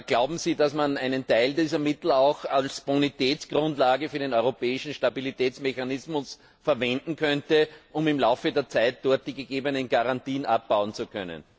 Glauben Sie, dass man einen Teil dieser Mittel auch als Bonitätsgrundlage für den europäischen Stabilitätsmechanismus verwenden könnte, um im Laufe der Zeit dort die gegebenen Garantien abbauen zu können?